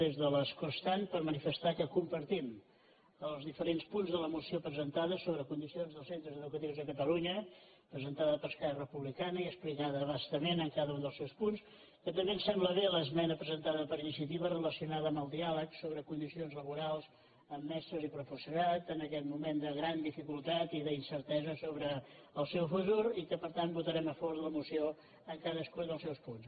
de l’escó estant per manifestar que compartim els diferents punts de la moció presentada sobre condicions dels centres educatius de catalunya presentada per esquerra republicana i explicada a bastament en cada un dels seus punts que també ens sembla bé l’esmena presentada per iniciativa relacionada amb el diàleg sobre condicions laborals amb mestres i professorat en aquest moment de gran dificultat i d’incertesa sobre el seu futur i que per tant votarem a favor de la moció en cadascun dels seus punts